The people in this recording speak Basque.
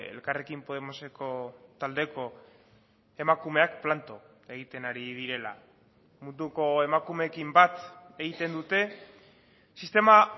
elkarrekin podemoseko taldeko emakumeak planto egiten ari direla munduko emakumeekin bat egiten dute sistema